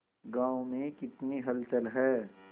गांव में कितनी हलचल है